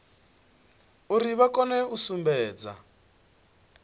uri vha kone u sumbedza